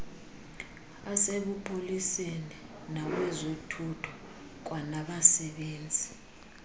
asebupoliseni nawezothutho kwanabasebenzi